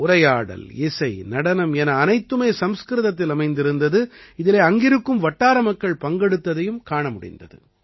உரையாடல் இசை நடனம் என அனைத்துமே சம்ஸ்கிருதத்தில் அமைந்திருந்தது இதிலே அங்கிருக்கும் வட்டார மக்கள் பங்கெடுத்ததையும் காண முடிந்தது